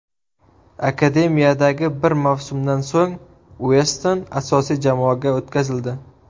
Akademiyadagi bir mavsumdan so‘ng Ueston asosiy jamoaga o‘tkazildi.